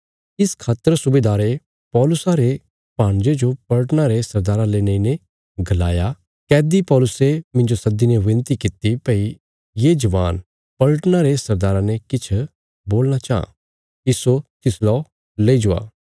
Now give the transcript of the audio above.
इस खातर सुबेदारे पौलुसा रे भाणजे जो पलटना रे सरदारा ले नेईने गलाया कैदी पौलुसे मिन्जो सद्दीने विनती कित्ती भई ये जवान पलटना रे सरदारा ने किछ बोलणा चाँह इस्सो तिसला लई जवा